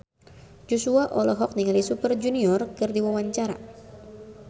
Joshua olohok ningali Super Junior keur diwawancara